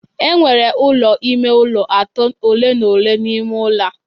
Enwere ụlọ ime ụlọ atọ ole na ole n'ime ụlọ a